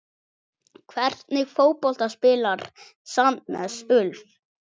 Hvernig fótbolta spilar Sandnes Ulf?